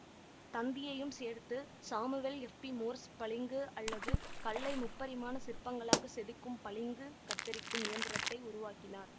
தந்தியையும் சேர்த்து Samuel F B Morse பளிங்கு அல்லது கல்லை முப்பரிமாண சிற்பங்களாக செதுக்கும் பளிங்கு கத்தரிக்கும் இயந்திரத்தை உருவாக்கினார்